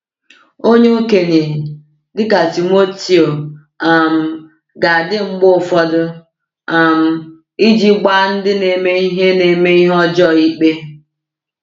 Onye okenye, dịka Timoteo, um ga-adị mgbe ụfọdụ um iji gbaa ndị na-eme ihe na-eme ihe ọjọọ ikpe.